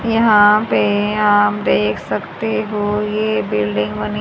यहां पे आप देख सकते हो ये बिल्डिंग बनी--